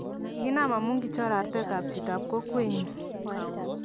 kikiknam amu kichor artetab chitab kokwenyin.